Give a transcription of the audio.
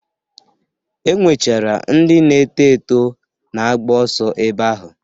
E nwechara ndị na-eto eto na-agba ọso ebe ahụ.